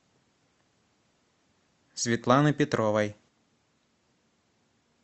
светланы петровой